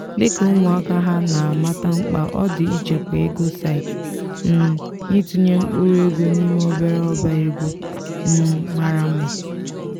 dịka ụmụaka ha na amata mkpa ọ dị ichekwa ego site um n'itụnye mkpụrụ ego n'ime obere ọba ego um mara mma.